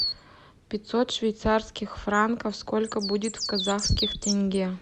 пятьсот швейцарских франков сколько будет в казахских тенге